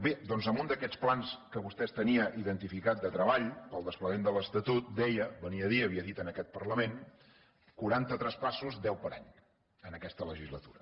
bé doncs en un d’aquests plans que vostè tenia identificat de treball per al desplegament de l’estatut deia venia a dir havia dit en aquest parlament quaranta traspassos deu per any en aquesta legislatura